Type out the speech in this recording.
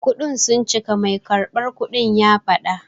Kudinka sun cika, mai karɓar kudin ya faɗa.